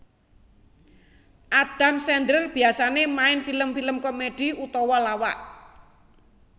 Adam Sandler biasané main film film komedi utawa lawak